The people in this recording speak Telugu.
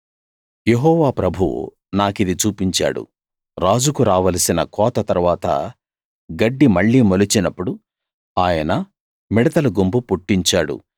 యెహోవా ప్రభువు నాకిది చూపించాడు రాజుకు రావలసిన కోత తరువాత గడ్డి మళ్ళీ మొలిచినప్పుడు ఆయన మిడతల గుంపు పుట్టించాడు